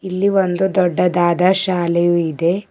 ಇಲ್ಲಿ ಒಂದು ದೊಡ್ಡದಾದ ಶಾಲೆಯು ಇದೆ.